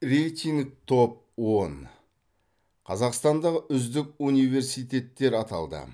рейтинг топ он қазақстандағы үздік университеттер аталды